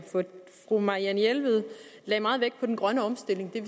fru marianne jelved lagde meget vægt på den grønne omstilling det